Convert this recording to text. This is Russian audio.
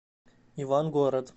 ивангород